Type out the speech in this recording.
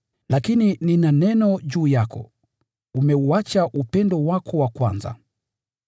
“Lakini nina neno dhidi yako: Umeuacha upendo wako wa kwanza.